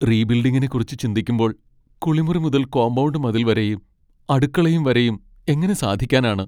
റീബിൽഡിങ്ങിനെക്കുറിച്ച് ചിന്തിക്കുമ്പോൾ, കുളിമുറി മുതൽ കോമ്പൗണ്ട് മതിൽ വരെയും അടുക്കളയും വരെയും, എങ്ങനെ സാധിക്കാനാണ്?